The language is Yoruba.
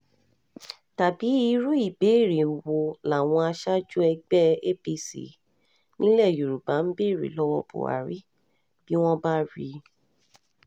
tàbí irú ìbéèrè wo làwọn aṣáájú ẹgbẹ́ apc nílẹ̀ yorùbá ń béèrè lọ́wọ́ buhari bí wọ́n bá rí i